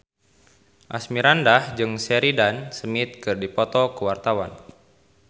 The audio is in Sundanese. Asmirandah jeung Sheridan Smith keur dipoto ku wartawan